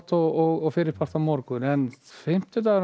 og fyrri part á morgun en fimmtudagurinn